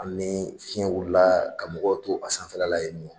Hali ni fiyɛn wulila ka mɔgɔw to a sanfɛla la yen nɔ.